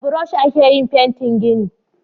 Da burosh a ke yin fentin gini